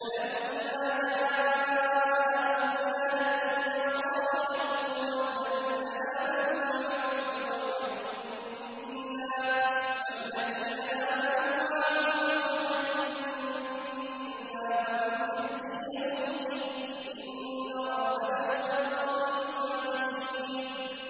فَلَمَّا جَاءَ أَمْرُنَا نَجَّيْنَا صَالِحًا وَالَّذِينَ آمَنُوا مَعَهُ بِرَحْمَةٍ مِّنَّا وَمِنْ خِزْيِ يَوْمِئِذٍ ۗ إِنَّ رَبَّكَ هُوَ الْقَوِيُّ الْعَزِيزُ